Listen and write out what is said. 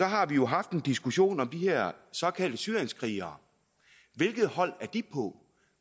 har vi jo haft en diskussion om de her såkaldte syrienskrigere hvilket hold er de på